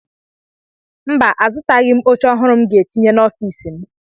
Mba, azụtaghị m oche ọhụrụ m ga-etinye n'ọfiisi m.